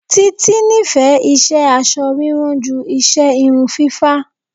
Títí nífẹ̀ẹ́ iṣẹ́ aṣọ rírán ju iṣẹ́ irun fífá.